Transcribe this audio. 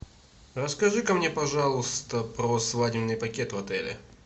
расскажи ка мне пожалуйста про свадебный пакет в отеле